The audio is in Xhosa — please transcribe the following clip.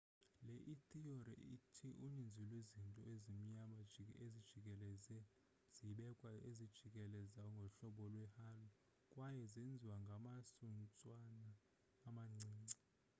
le ithiyori ithi uninzi lwezinto ezimnyama ezijikeleze zibekwe zijikeleze ngohlobo lwe-halo kwaye zenziwe ngamasuntswana amancinci